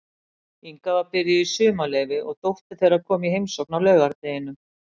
Inga var byrjuð í sumarleyfi og dóttir þeirra kom í heimsókn á laugardeginum.